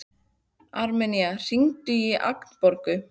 Armenía, hringdu í Agnborgu.